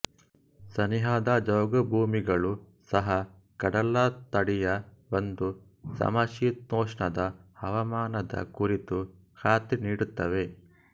ಸನಿಹದ ಜೌಗುಭೂಮಿಗಳೂ ಸಹ ಕಡಲತಡಿಯ ಒಂದು ಸಮಶೀತೋಷ್ಣದ ಹವಾಮಾನದ ಕುರಿತು ಖಾತ್ರಿನೀಡುತ್ತವೆ